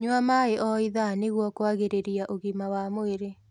Nyua maĩ o ithaa nĩguo kũagĩrĩrĩa ũgima wa mwĩrĩ